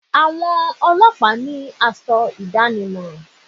Àwọn ọlọ́pàá ní asọ ìdánimọ̀